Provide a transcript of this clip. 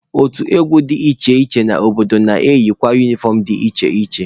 Otu egwu dị iche iche n'obodo na-eyikwa unifọm dị iche iche.